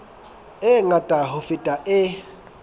e ngata ho feta e